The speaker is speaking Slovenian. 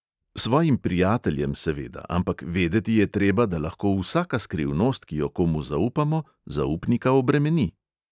Svojim prijateljem seveda; ampak vedeti je treba, da lahko vsaka skrivnost, ki jo komu zaupamo, zaupnika obremeni.